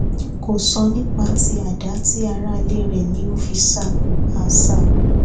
kò sọ nípa tí àdá ti aráalé rẹ ni ó fi ṣá a ṣá a